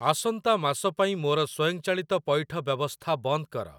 ଆସନ୍ତା ମାସ ପାଇଁ ମୋର ସ୍ଵୟଂଚାଳିତ ପଇଠ ବ୍ୟବସ୍ଥା ବନ୍ଦ କର।